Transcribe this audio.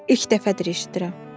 İlk dəfədir eşidirəm.